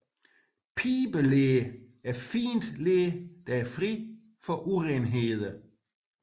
Pibeler er fint ler der er fri for urenheder